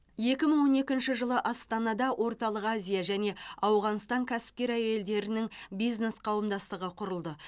екі мың он екінші жылы астанада орталық азия және ауғанстан кәсіпкер әйелдерінің бизнес қауымдастығы құрылды